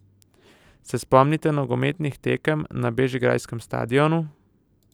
Se spomnite nogometnih tekem na bežigrajskem stadionu?